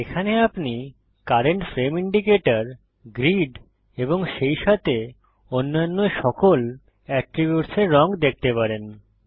এখানে আপনি current frame indicator grid এবং সেইসাথে অন্যান্য সকল এট্রিব্যুটসের রঙ দেখতে পারেন